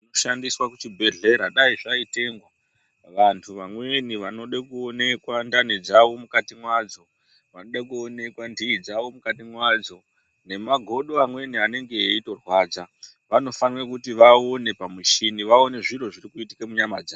Zvinoshandiswa kuchibhedhlera dai zvaitengwa vanthu vamweni vanode kuonekwa ndani dzavo mukati mwadzo, vanoda kuonekwa nthii dzavo mukati mwadzo nemagodo amweni anenge eitorwadza vanofanira kuti vaone pamuchini, vaone zviro zvirikuitika munyama dzavo.